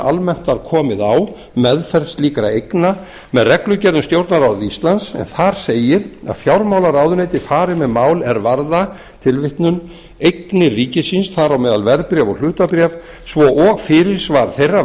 almennt var komið á meðferð slíkra eigna með annarri reglugerð um stjórnarráð íslands en þar segir að fjármálaráðuneytið fari með mál er varða eignir ríkisins þar á meðal verðbréf og hlutabréf svo og fyrirsvar þeirra